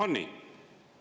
On nii?